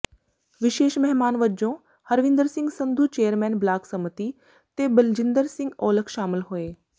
ਵਿਸ਼ੇਸ਼ ਮਹਿਮਾਨ ਵਜੋਂ ਹਰਵਿੰਦਰ ਸਿੰਘ ਸੰਧੂ ਚੇਅਰਮੈਨ ਬਲਾਕ ਸੰਮਤੀ ਤੇ ਬਲਜਿੰਦਰ ਸਿੰਘ ਔਲਖ ਸ਼ਾਮਲ ਹੋਏ